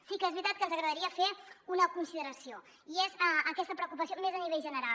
sí que és veritat que ens agradaria fer una consideració i és aquesta preocupació més a nivell general